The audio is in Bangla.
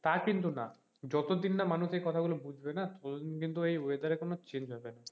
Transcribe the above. তা কিন্তু না যত দিন না মানুষ এই কথা গুলো বুঝবে না কোনো দিন কিন্তু এই weather রের change হবে না,